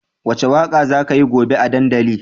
Wace waka za kayi gobe a dandali?